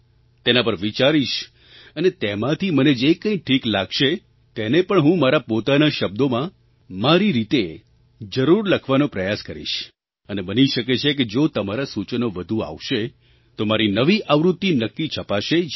તેના પર વિચારીશ અને તેમાંથી મને જે કંઈ ઠીક લાગશે તેને પણ હું મારા પોતાના શબ્દોમાં મારી રીતે જરૂર લખવાનો પ્રયાસ કરીશ અને બની શકે છે કે જો તમારાં સૂચનો વધુ આવશે તો મારી નવી આવૃત્તિ નક્કી છપાશે જ